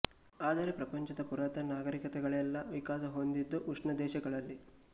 ಆದರೆ ಪ್ರಪಂಚದ ಪುರಾತನ ನಾಗರಿಕತೆಗಳೆಲ್ಲ ವಿಕಾಸ ಹೊಂದಿದ್ದು ಉಷ್ಣ ದೇಶಗಳಲ್ಲಿ